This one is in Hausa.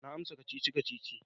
Na amsa kacici-kacici.